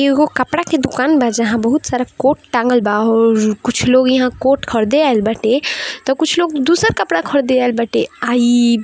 ऐ हो कपड़ा का दुकान बा जहाँ बहुत सारा कोट टागल बा और कुछ लोग यहाँ कोट खरीदे आये बाटे तो कुछ लोग दूसर कपड़े खरीदे आये बाटे आई--